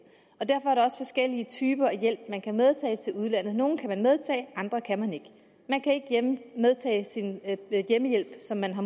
og derfor er der også forskellige typer af hjælp man kan medtage til udlandet nogle kan man medtage andre kan man ikke man kan ikke medtage sin hjemmehjælp som man har